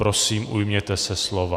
Prosím, ujměte se slova.